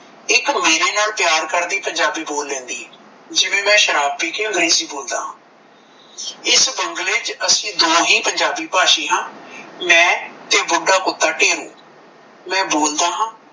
ਇੱਕ ਮੇਰੇ ਨਾਲ ਪਿਆਰ ਕਰਦੀ ਪੰਜਾਬੀ ਬੋਲ ਲੈਦੀ ਏ ਜਿਵੇਂ ਮੈ ਸ਼ਰਾਬ ਪੀ ਕੇ ਨਹੀਂ ਸੀ ਬੋਲਡ ਇਸ ਬੰਗਲੇ ਵਿੱਚ ਅਸੀਂ ਦੋ ਹੀ ਪੰਜਾਬੀ ਭਾਸ਼ੀ ਹਾਂ ਇੱਕ ਮੈਂ ਤੇ ਬੁੱਢਾ ਕੁੱਤਾ ਢੇਰੂ ਮੈਂ ਬੋਲਡ ਹਾਂ